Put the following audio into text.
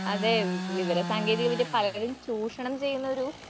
അതേ വിവിവരസാങ്കേതികവിദ്യ പലരും ചൂഷണം ചെയ്യുന്നൊരു